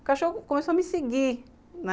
O cachorro começou a me seguir, né?